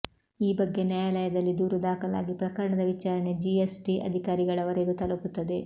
ಈ ಬಗ್ಗೆ ನ್ಯಾಯಾಲಯದಲ್ಲಿ ದೂರು ದಾಖಲಾಗಿ ಪ್ರಕರಣದ ವಿಚಾರಣೆ ಜಿಎಸ್ ಟಿ ಅಧಿಕಾರಿಗಳವರೆಗೂ ತಲುಪುತ್ತದೆ